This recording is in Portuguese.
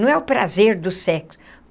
Não é o prazer do sexo.